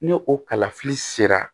Ni o kalafili sera